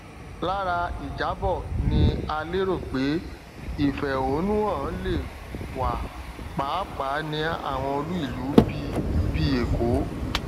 lára ìjábọ ni a lérò pé ìfẹhónúhàn le wa pàápàá ní àwọn olú ìlú bí bí èkó